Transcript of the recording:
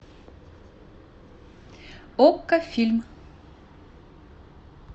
окко фильм